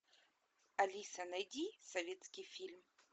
алиса найди советский фильм